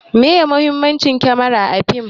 Meye muhimmanci kamara a fim?